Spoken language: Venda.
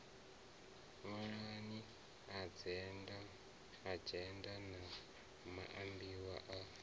ṅwalani adzhenda na maambiwa a